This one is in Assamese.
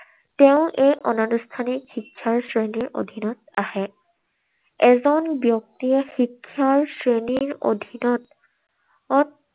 তেওঁৰ এই অনানুষ্ঠানিক শিক্ষাৰ শ্ৰেণীত আহে। এজন ব্যক্তিয়ে শিক্ষাৰ শ্ৰেণীৰ অধীনত